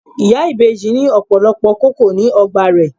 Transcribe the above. Ìyá ìbejì ní ọ̀pọ̀lọpọ̀ kókò ní ọgbà rè.